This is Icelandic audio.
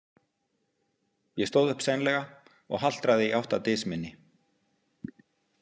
Ég stóð upp seinlega og haltraði í átt að dys minni.